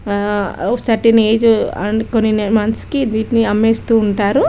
ఆహ్ certain age అనుకోని months కి వీటిని అమ్మేస్తూ ఉంటారు.